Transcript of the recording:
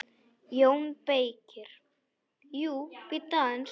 JÓN BEYKIR: Jú, bíddu aðeins!